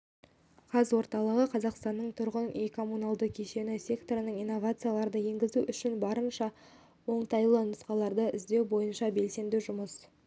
қазорталығы қазақстанның тұрғын үй-коммуналдық кешені секторына инновацияларды енгізу үшін барынша оңтайлы нұсқаларды іздеу бойынша белсенді жұмыс